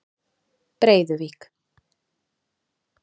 Breiðuvík